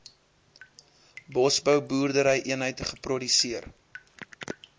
bosbou boerderyeenheid geproduseer